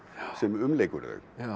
sem umlykur þau